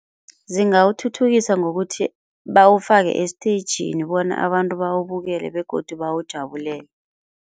Zingawuthuthukisa ngokuthi bawufake esteyijini bona abantu bawubukele begodu bawujabulele.